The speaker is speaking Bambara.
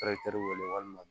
wele walima